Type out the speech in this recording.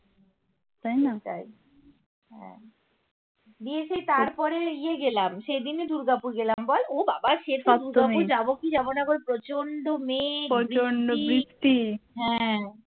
তাই হ্যা তারপরে ইয়ে গেলাম সেদিনই দুর্গাপুর গেলাম বল ও বাবা সেতো দুর্গাপুর যাবো কি যাবোনা বল প্রচন্ড মেঘ বৃষ্টি হ্যা